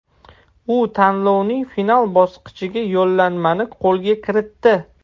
U tanlovning final bosqichiga yo‘llanmani qo‘lga kiritdi.